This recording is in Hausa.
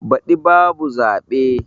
Baɗi ba bu zaɓe.